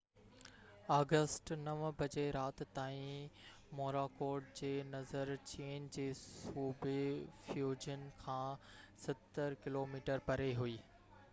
August 9 جي رات تائين موراڪوٽ جي نظر چين جي صوبي فيوجن کان ستر ڪلوميٽر پري هئي